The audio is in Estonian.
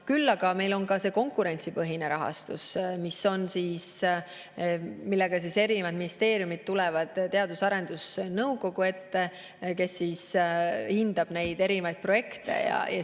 Küll aga on meil ka konkurentsipõhine rahastus, millega erinevad ministeeriumid tulevad Teadus- ja Arendusnõukogu ette, kes hindab neid projekte.